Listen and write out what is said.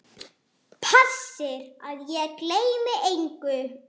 Passir að ég gleymi engu.